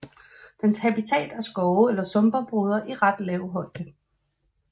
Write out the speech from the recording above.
Dens habitat er skove eller sumpområder i ret lav højde